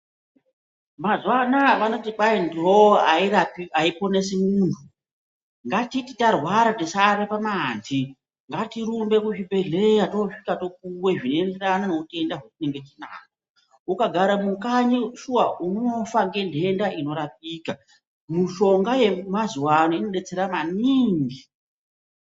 Mazuwa anaya vanoti kwai nhoo aiponesi munhu ,ngatiti tarwara tisaate pamanhi ngatirumbe kuzvibhehleya toosvika topuwe zvinoenderana neutenda hwatinenge tinahwo ,ukagara mukanyi shuwa unofa ngenhenda inorapika mishonga yemazuwa ano inodetsera maningi.